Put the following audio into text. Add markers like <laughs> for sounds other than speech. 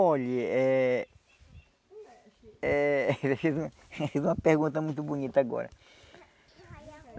Olha, é eh... Ele fez <laughs> um fez uma pergunta muito bonita agora.